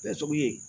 Kɛcogo ye